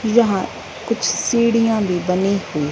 यहां कुछ सीढ़ियां भी बनी हुई--